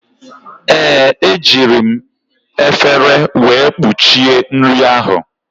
Ee, ejiri m efere wee kpuchie nri ahụ.